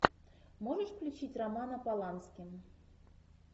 можешь включить романа полански